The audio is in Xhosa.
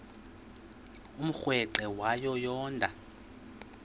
umrweqe wayo yoonda